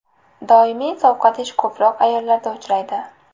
Doimiy sovqotish ko‘proq ayollarda uchraydi.